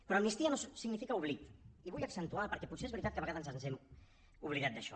però amnistia no significa oblit i ho vull accentuar perquè potser és veritat que a vegades ens hem oblidat d’això